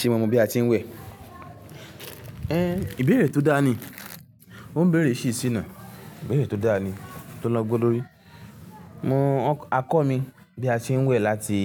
Ṣé mo mọ bí a ti ń wẹ̀? Ehn ìbéèrè tó dáa ni. Ó ń béèrè ṣí ṣí náà. Ìbéèrè tó dáa ni, tó lọ́gbon lórí. Mọ akọ mi bí a ṣe ń wẹ̀ láti